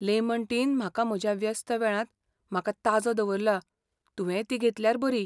Lemon tea न म्हाका म्हज्या व्यस्त वेळांत म्हाका ताजो दवरला, तुवेंय ती घेतल्यार बरी.